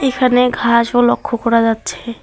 এখানে ঘাসও লক্ষ করা যাচ্ছে।